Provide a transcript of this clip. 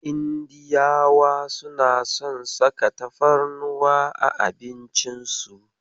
Indiyawa suna son saka tafarnuwa a abincin su.